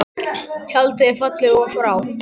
Tjaldið er fallið og frá.